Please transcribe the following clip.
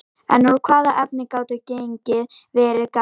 En úr hvaða efni gátu genin verið gerð?